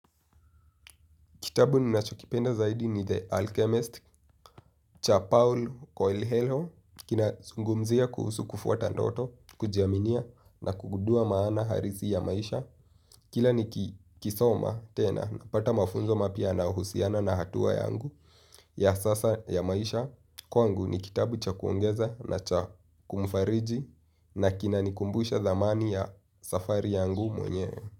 Kitabu ninachokipenda zaidi ni The Alchemist cha Paul Koyle-Helho. Kina sungumzia kuhusu kufuata ndoto, kujiaminia na kugudua maana harisi ya maisha. Kila ni kisoma tena na pata mafunzo mapya na uhusiana na hatua yangu ya sasa ya maisha. Kwangu ni kitabu cha kuongeza na cha kumufariji na kina nikumbusha dhamani ya safari yangu mwenyewe.